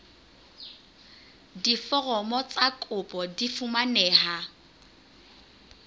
diforomo tsa kopo di fumaneha